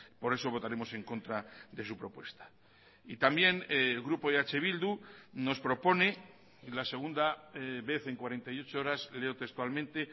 por eso votaremos en contra de su propuesta y también el grupo eh bildu nos propone la segunda vez en cuarenta y ocho horas leo textualmente